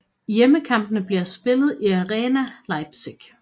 Hjemmekampene bliver spillet i Arena Leipzig